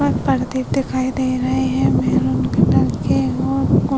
पर्दे दिखाई दे रहे हैं। मेहरून कलर के और --